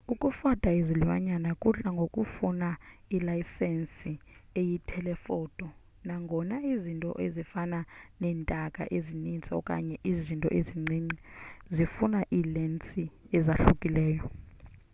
ukufota izilwanyana kudla ngokufuna ilensi eyi-telephoto nangona izinto ezifana neentaka ezininzi okanye izinto ezincinci zifuna iilensi ezahlukileyo